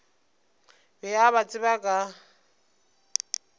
be a ba tseba ka